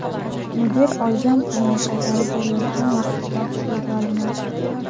Mudir olgan pulini qaytarib berayotgan vaqtida qo‘lga olinadi.